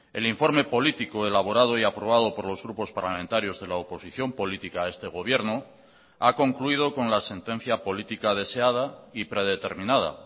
el informe político elaborado y aprobado por los grupos parlamentarios de la oposición política a este gobierno ha concluido con la sentencia política deseada y predeterminada